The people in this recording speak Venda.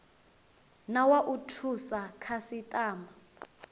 na wa u thusa khasitama